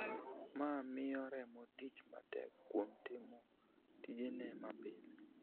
Ma miyo remo tich matek kuom timo tijene mapile.